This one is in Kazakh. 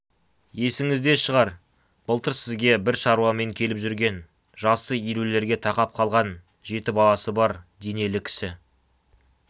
есіңізде шығар былтыр сізге бір шаруамен келіп жүрген жасы елулерге тақап қалған жеті баласы бар денелі кісі